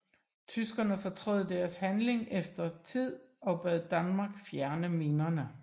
Tyskerne fortrød deres handling efter noget tid og bad Danmark fjerne minerne